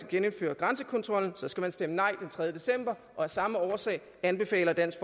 genindføre grænsekontrollen så skal man stemme nej den tredje december og af samme årsag anbefaler dansk